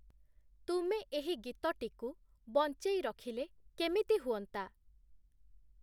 ତୁମେ ଏହି ଗୀତଟିକୁ ବଞ୍ଚେଇ ରଖିଲେ କେମିତି ହୁଅନ୍ତା?